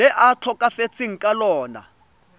le a tlhokafetseng ka lona